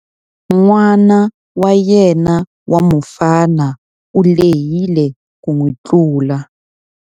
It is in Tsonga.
N'ana wa yena wa mufana u lehile ku n'wi tlula.